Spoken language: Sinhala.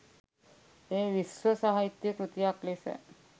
එය විශ්ව සාහිත්‍ය කෘතියක් ලෙස